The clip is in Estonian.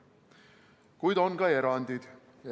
Kuid on ka erandeid.